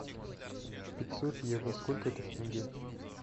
пятьсот евро сколько это в тенге